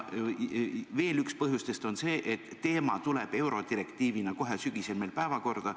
Veel on üks põhjustest see, et teema tuleb eurodirektiivina kohe sügisel meil päevakorda.